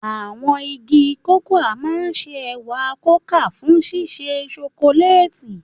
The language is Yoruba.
Àwọn igi cocoa máa ń ṣe ẹ̀wà kókà fún ṣíṣe ṣokoléètì.